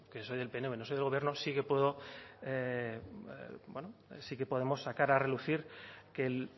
que soy del pnv no soy del gobierno sí que puedo bueno sí que podemos sacar a relucir que el